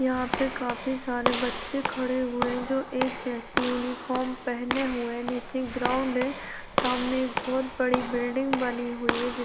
यहाँ पे काफी सारे बच्चे खड़े हुए हैं जो एक जैसी यूनिफार्म पेहने हुए नीचे ग्राउंड है सामने एक बहुत बड़ी बिल्डिंग बनी हुई है जि --